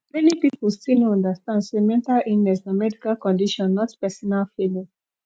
many people still no understand say mental illness na medical condition not pesinal failing